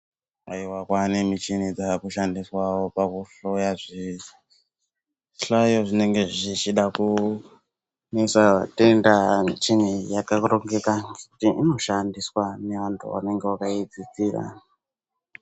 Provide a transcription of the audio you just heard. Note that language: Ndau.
Haiwa kwava nechini dzakushandiswe pakuhloya zvese, kuhloya zvinenge zvichida kunetsa matenda, mishini iyi yakarongeka ngekuti inoshandiswe nevantu vanenge vakaidzidzira.